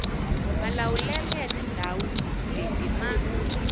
malawulele ya tindzawu leti mati